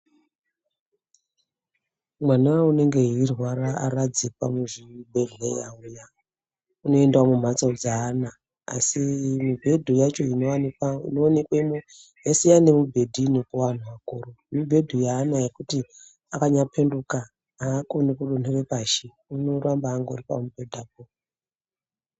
Mwana unenge eirwara aradzikwa muzvibhedhlera uya unoendawi mumhatso dzeana asi mibhedhu inoonkwemwo yasiyana neyevantu akuru, mibhedhu yeana yekuti chero akanyaphenduka aawiri pashi, unoramba ari pamubhedhapo.